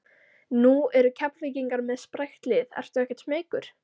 Nú eru Keflvíkingar með sprækt lið ertu ekkert smeykur?